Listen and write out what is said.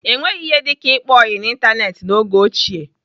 Enweghị ihe dịka ịkpa ọyị n'Ịntanetị n'oge ochie.